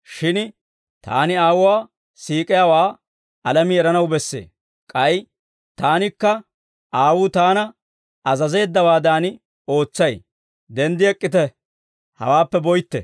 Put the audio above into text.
Shin Taani Aawuwaa siik'iyaawaa alamii eranaw bessee; k'ay Taanikka Aawuu Taana azazeeddawaadan ootsay. Denddi ek'k'ite; hawaappe boytte.